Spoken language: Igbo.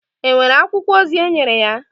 È nwere akwụkwọ ozi enyere ya?